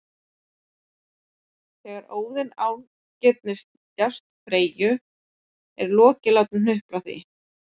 Þegar Óðinn ágirnist djásn Freyju er Loki látinn hnupla því